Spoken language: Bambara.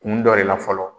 Kun dɔ de la fɔlɔ